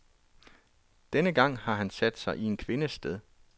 Denne gang har han sat sig i en kvindes sted.